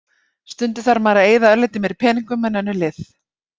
Stundum þarf maður að eyða örlítið meiri peningum en önnur lið.